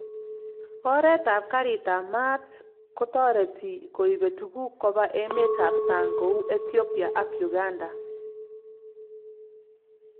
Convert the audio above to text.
Oret ab garit ab mat ko tareti koibe tuguk koba emet ab sang' kou Ethiopia ak Uganda